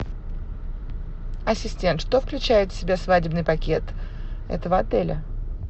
ассистент что включает в себя свадебный пакет этого отеля